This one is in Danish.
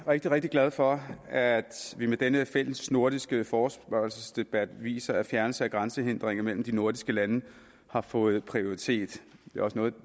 rigtig rigtig glad for at vi med denne fælles nordiske forespørgselsdebat viser at fjernelse af grænsehindringer mellem de nordiske lande har fået prioritet det er også noget af